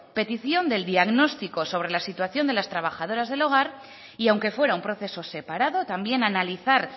petición del diagnóstico sobre la situación de las trabajadoras del hogar y aunque fuera un proceso separado también analizar